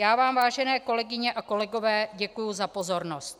Já vám, vážené kolegyně a kolegové, děkuji za pozornost.